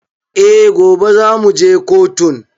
Eh, gobe za mu je kotun